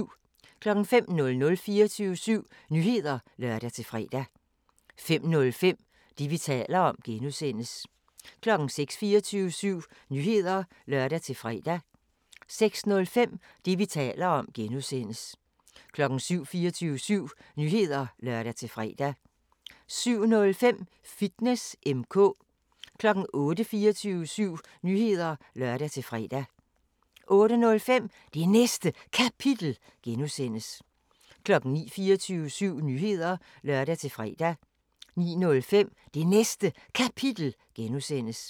05:00: 24syv Nyheder (lør-fre) 05:05: Det, vi taler om (G) 06:00: 24syv Nyheder (lør-fre) 06:05: Det, vi taler om (G) 07:00: 24syv Nyheder (lør-fre) 07:05: Fitness M/K 08:00: 24syv Nyheder (lør-fre) 08:05: Det Næste Kapitel (G) 09:00: 24syv Nyheder (lør-fre) 09:05: Det Næste Kapitel (G)